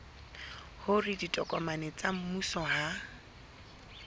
hore ditokomane tsa mmuso ha